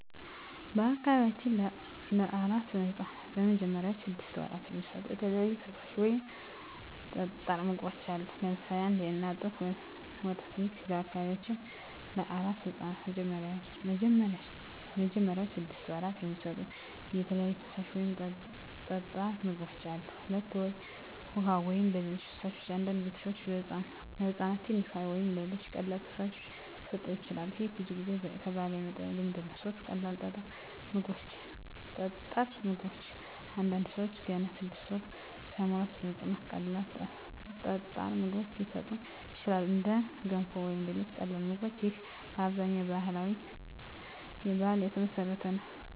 በአካባቢያችን ለአራስ ሕፃናት በመጀመሪያዎቹ ስድስት ወራት የሚሰጡ የተለያዩ ፈሳሽ ወይም ጠጣር ምግቦች አሉ። ለምሳሌ 1. የእናት ጡት ወተት ይህ ለበአካባቢያችን ለአራስ ሕፃናት በመጀመሪያዎቹ ስድስት ወራት የሚሰጡ የተለያዩ ፈሳሽ ወይም ጠጣር ምግቦች አሉ። 2. ውሃ ወይም ሌሎች ፈሳሾች አንዳንድ ቤተሰቦች ለሕፃን ትንሽ ውሃ ወይም ሌሎች ቀላል ፈሳሾች ሊሰጡ ይችላሉ። ይህ ብዙ ጊዜ ከባህል የመጣ ልማድ ነው። 3. ቀላል ጠጣር ምግቦች አንዳንድ ሰዎች ገና 6 ወር ሳይሞላ ለሕፃን ቀላል ጠጣር ምግቦች ሊሰጡ ይችላሉ፣ እንደ ገንፎ ወይም ሌሎች ቀላል ምግቦች። ይህም በአብዛኛው በባህል የተመሠረተ ነው።